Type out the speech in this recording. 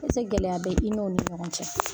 gɛlɛya bɛ i n'olu ni ɲɔgɔn cɛ?